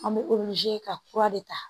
An bɛ ka kura de ta